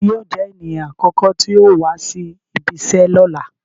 Tani yóò jẹ eniyan akọkọ ti yóò wa si ibìíṣẹ lọla?